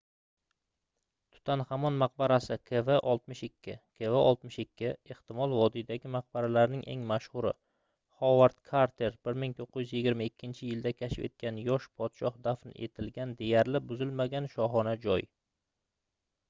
tutanxamon maqbarasi kv62. kv62 ehtimol vodiydagi maqbaralarning eng mashhuri hovard karter 1922-yilda kashf etgan yosh podshoh dafn etilgan deyarli buzilmagan shohona joy